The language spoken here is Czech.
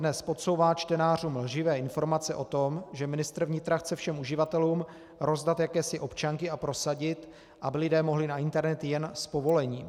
Dnes podsouvá čtenářům lživé informace o tom, že ministr vnitra chce všem uživatelům rozdat jakési občanky a prosadit, aby lidé mohli na internet jen s povolením.